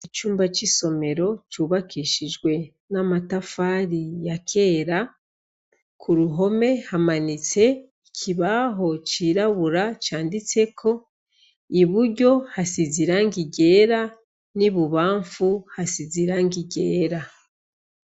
Icumba c'isomero cubakishijwe n'amatafari yakera, kuruhome hamanitse ikibaho cirabura canditseko, iburyo hasize irangi ryera n'ibubafu hasizeko irangi ryera.